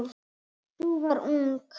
Sú var ung!